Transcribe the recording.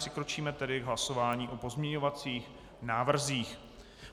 Přikročíme tedy k hlasování o pozměňovacích návrzích.